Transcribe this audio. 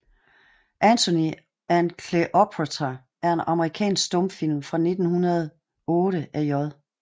Antony and Cleopatra er en amerikansk stumfilm fra 1908 af J